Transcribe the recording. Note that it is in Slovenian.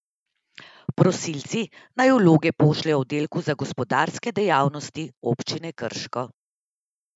Prosilci naj vloge pošljejo oddelku za gospodarske dejavnosti občine Krško.